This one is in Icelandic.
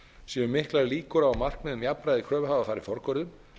séu miklar líkur á að markmið um jafnræði kröfuhafa fari forgörðum